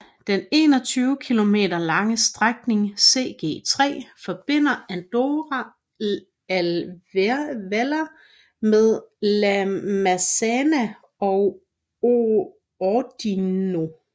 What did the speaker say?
Den 21 km lange strækningen CG 3 forbinder Andorra la Vella med La Massana og Ordino